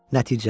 Nəticə.